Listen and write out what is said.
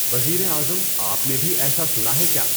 وزیر اعظم آپ نے بھی ایسا سنا ہے کیا؟